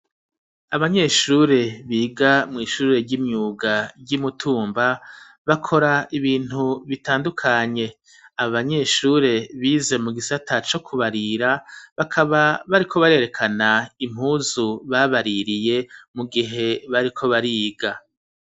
Abanyeshure biga mw'ishure ry'imyuga ry'imutumba, bakora ibintu bitandukanye abanyeshure bize mu gisata co kubarira bakaba bariko barerekana impuzu babaririye mu gihe bariko bariga.